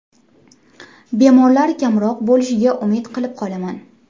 Bemorlar kamroq bo‘lishiga umid qilib qolaman.